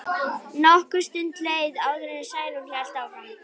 Nokkur stund leið áður en Særún hélt áfram.